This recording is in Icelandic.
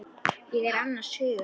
Ég er annars hugar.